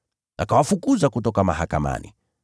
Akawafukuza kutoka mahakamani.